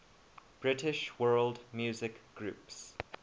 british world music groups